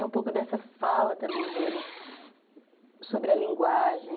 E um pouco dessa fala também deles sobre a linguagem.